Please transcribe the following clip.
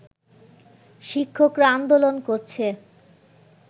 শিক্ষকরা আন্দোলন করছে